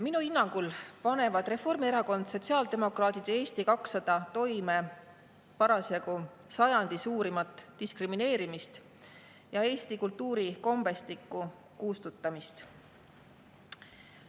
Minu hinnangul panevad Reformierakond, sotsiaaldemokraadid ja Eesti 200 parasjagu toime sajandi suurimat diskrimineerimist ning eesti kultuuri ja kombestiku kustutamist.